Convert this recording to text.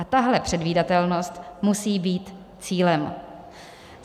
A tahle předvídatelnost musí být cílem.